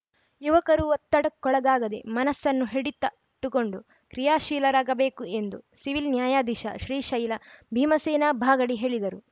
ಯುವಕರು ಒತ್ತಡಕ್ಕೊಳಗಾಗದೆ ಮನಸ್ಸನ್ನು ಹಿಡಿತ ಟ್ಟುಕೊಂಡು ಕ್ರಿಯಾಶೀಲರಾಗಬೇಕು ಎಂದು ಸಿವಿಲ್‌ ನ್ಯಾಯಧೀಶ ಶ್ರೀಶೈಲ ಭೀಮಸೇನಾ ಬಾಗಡಿ ಹೇಳಿದರು